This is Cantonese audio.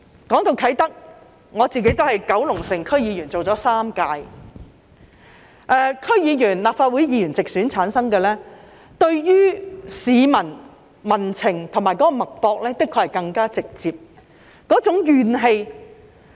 談到啟德，我擔任了3屆九龍城區議員，由直選產生的區議員及立法會議員，的確是更直接感受到民情及社會脈搏，以及那種怨氣。